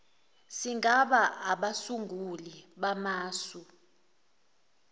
singaba abasunguli bamasu